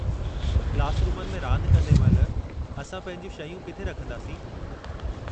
Class रूमनि में रांद कंदे महिल असां पंहिंजियूं शयूं किथे रखिंदासीं?